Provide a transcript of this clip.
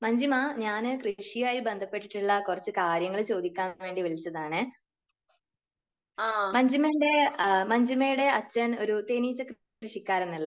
മഞ്ജിമ, ഞാൻ കൃഷിയുമായി ബന്ധപ്പെട്ടിട്ടുള്ള കുറച്ച് കാര്യങ്ങൾ ചോദിക്കാൻ വേണ്ടി വിളിച്ചതാണ്. മഞ്ജിമേന്റെ, മഞ്ജിമയുടെ അച്ഛൻ ഒരു തേനീച്ച കൃഷിക്കാരനല്ലേ?